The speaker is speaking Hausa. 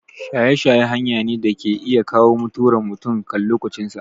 Shaye shaye hanya ne da ke iya kawo mutuwar mutum kan lokacin sa